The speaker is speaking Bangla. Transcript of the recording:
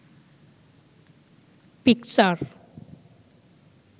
পিকচার